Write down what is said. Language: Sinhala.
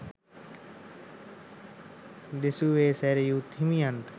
දෙසුවේ සැරියුත් හිමියන්ට